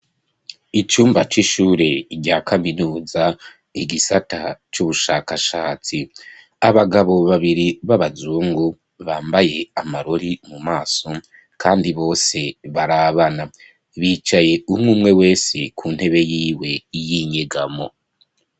Icumba c'ishure rya kaminuza, igisata c'ubushakashatsi; abagabo babiri, b'abazungu, bambaye amarori mu maso, kandi bose barabana; bicaye umwe umwe wesi, ku ntebe yiwe y'inyegamo.